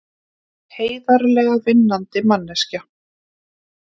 Heiðarlega vinnandi manneskja.